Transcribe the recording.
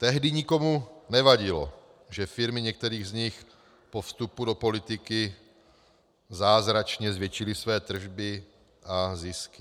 Tehdy nikomu nevadilo, že firmy některých z nich po vstupu do politiky zázračně zvětšily své tržby a zisky.